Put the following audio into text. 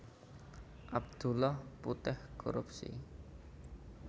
Abdullah Puteh korupsi